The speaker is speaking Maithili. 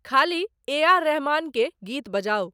ख़ाली ए आर रहमान के गीत बजाऊं